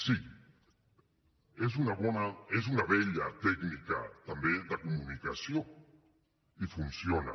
sí és una bona és una vella tècnica també de comunicació i funciona